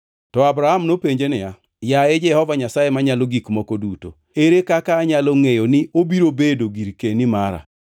To Abram nopenje niya, “Yaye Jehova Nyasaye Manyalo Gik Moko Duto, ere kaka anyalo ngʼeyo ni obiro bedo girkeni mara?”